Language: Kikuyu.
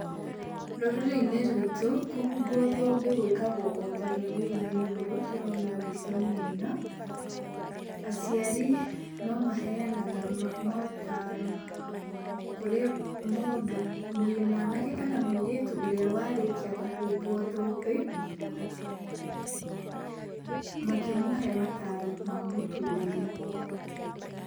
Rũrĩrĩ-inĩ rwitũ, kũhumbwo thũmbĩ gwĩkagwo o ta rũrĩrĩ-inĩ ruru tũrona mbica-inĩ ĩno, aciari no maheanaga motaro kũrĩ mũndũ , mwanake kana mũirĩtu ũria warĩkia kũhumbwo thũmbĩ, makĩmũhe mataro ma mũtũrĩre.